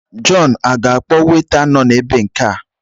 Jọn aga-akpọ weta nọ na baa nke a?